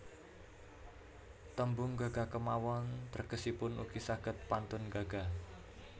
Tembung gaga kémawon tegesipun ugi saged pantun gaga